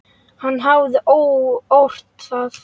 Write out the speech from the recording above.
Hann hafði ort það.